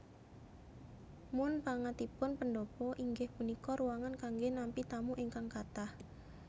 Munpangatipun pendhapa inggih punika ruangan kanggé nampi tamu ingkang kathah